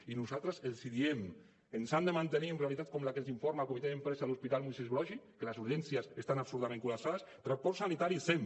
i nosaltres els diem ens han de mantenir en realitats com la que ens informa el comitè d’empresa de l’hospital moisès broggi que les urgències estan absolutament col·lapsades transport sanitari sem